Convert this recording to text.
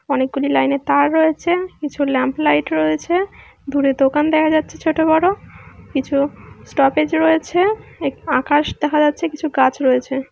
অনেকগুলি লাইন এর তার রয়েছে। কিছু ল্যাম্প লাইট রয়েছে। দূরে দোকান দেখা যাচ্ছে ছোট বড়ো। কিছু স্টপেজ রয়েছে। আকাশ দেখা যাচ্ছে। কিছু গাছ রয়েছে।